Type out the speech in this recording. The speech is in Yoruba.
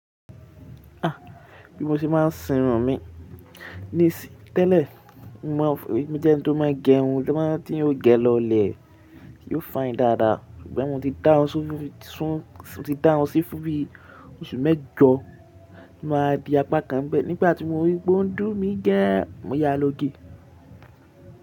Ah! Bí mo ṣe máa ń sinrun mi. Ní ìsì tẹ́lẹ̀, mo mọ̀ ọ́ fún mojé ẹni tó máa ń gẹrun, tí ó máa ń teyan ògè lọlẹ̀, yóò fàyín dáadáa. Ṣùgbọ́n mo ti dárùn sí fún bí oṣù mẹ́jọ ti mọ́n rora di apá kan nbẹ̀ Nígbà tí mo rí pé ó ń dùn mí gann, mo ya lógè.